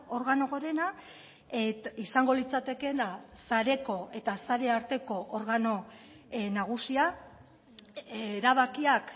organo gorena izango litzatekeena sareko eta sare arteko organo nagusia erabakiak